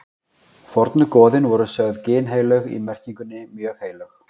fornu goðin voru sögð ginnheilög í merkingunni mjög heilög